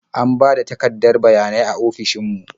An ba da takardar bayanai a ofishin mu.